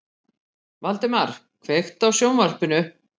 Valdemar, kveiktu á sjónvarpinu.